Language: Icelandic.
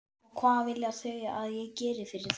Og hvað vilja þau að ég geri fyrir þau?